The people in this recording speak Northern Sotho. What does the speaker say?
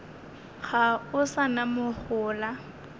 ga o sa na mohola